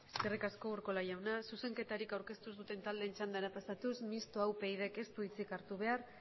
eskerrik asko eskerrik asko urkola jauna zuzenketarik aurkeztu ez duten taldeen txandara pasatuz mistoa upydk ez du hitzik hartu behar